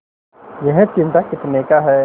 यह चिमटा कितने का है